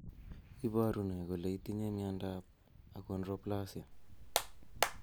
Iporu ne kole itinye miondap Achondroplasia?